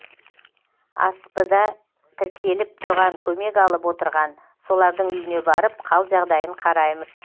асп да тіркеліп тұрған көмек алып отырған солардың үйіне барып қал жағдайын қараймыз